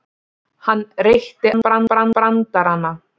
Hann reytti af sér brandarana.